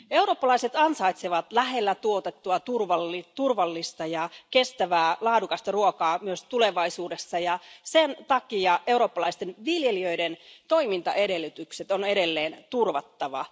Eurooppalaiset ansaitsevat lähellä tuotettua, turvallista, kestävää ja laadukasta ruokaa myös tulevaisuudessa, ja sen takia eurooppalaisten viljelijöiden toimintaedellytykset on edelleen turvattava.